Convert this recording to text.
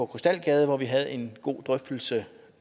krystalgade hvor vi havde en god drøftelse